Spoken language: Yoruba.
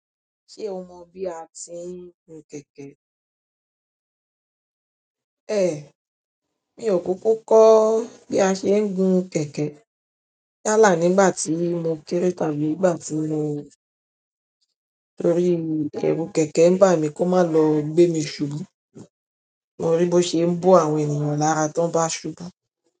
Ṣé o mọ́ bí a ti ń gun kẹ̀kẹ́? Ẹ̀, mi ò kúúkú kọ́ bí a ṣe ń gun kẹ̀kẹ́. Á là nígbà tí mo kerẹ̀ tàbí ìgbà tí mo-- torí ìbẹ́rù kẹ̀kẹ́ ń bà mí kó má lọ gbé mi ṣubú. Mo ri bó ṣe ń bo àwọn ènìyàn lára tó bá ṣubú.